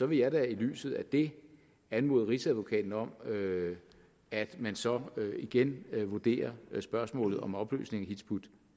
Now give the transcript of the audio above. vil jeg da i lyset af det anmode rigsadvokaten om at man så igen vurderer spørgsmålet om opløsning af hizb ut